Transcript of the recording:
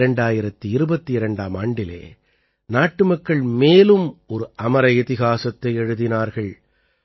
2022ஆம் ஆண்டிலே நாட்டுமக்கள் மேலும் ஒரு அமர இதிஹாசத்தை எழுதினார்கள்